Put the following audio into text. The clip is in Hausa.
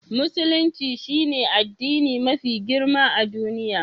Musulunci shine addini mafi girma a duniya.